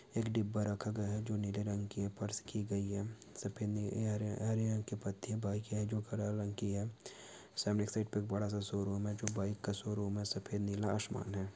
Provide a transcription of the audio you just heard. एक डिब्बा रखा गया है जो नीले रंग की है फर्श की गई है सफेद अ हरे हरे रंग की पत्ती है बाइक है जो हरा रंग की है सामने के साइड पे एक बड़ा सा शोरूम है जो बाइक का शोरूम है सफेद नीला आसमान है।